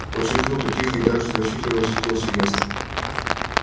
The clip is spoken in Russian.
очень круто тихо и так же значительно восхитился я